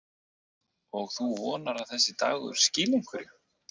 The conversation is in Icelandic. Og þú vonar að þessi dagur skili einhverju?